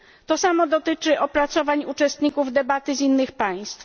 To samo dotyczy opracowań uczestników debaty z innych państw.